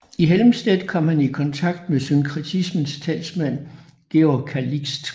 I Helmstedt kom han i kontakt med synkretismens talsmand Georg Calixt